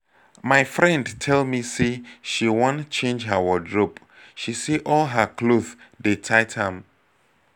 my friend tell me say she wan change her wardrobe she say all her cloth dey tight am